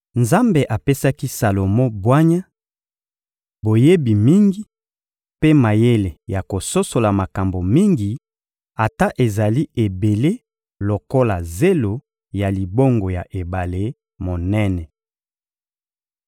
Nzambe apesaki Salomo bwanya, boyebi mingi, mpe mayele ya kososola makambo mingi, ata ezali ebele lokola zelo ya libongo ya ebale monene.